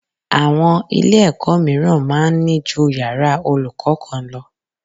Àwọn Ilé-ẹ̀kọ́ mìíràn máa ń ní ju yàrá olùkọ́ kan lọ